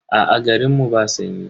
Aa, garin mu ba sanyi.